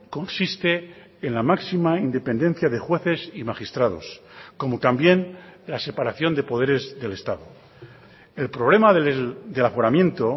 consiste en la máxima independencia de jueces y magistrados como también la separación de poderes del estado el problema del aforamiento